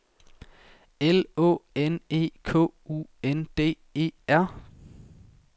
L Å N E K U N D E R